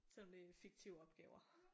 Selvom det er fiktive opgaver